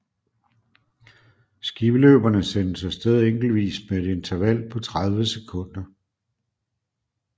Skiløberne sendes af sted enkeltvis med et interval på 30 sekunder